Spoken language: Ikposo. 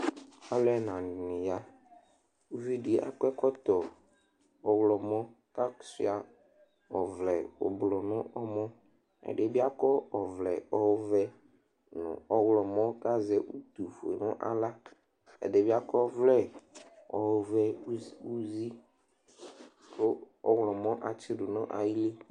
Alʋ ɛnanɩ ya Uvi dɩ akɔ ɛkɔtɔ ɔɣlɔmɔ kʋ asʋɩa ɔvlɛ ɔblʋ nʋ ɔmɔ Ɛdɩ bɩ akɔ ɔvlɛ ɔvɛ nʋ ɔɣlɔmɔ kʋ azɛ utufue nʋ aɣla Ɛdɩ bɩ akɔ ɔvlɛ ɔvɛ uz uzi kʋ ɔɣlɔmɔ atsɩdʋ nʋ ayili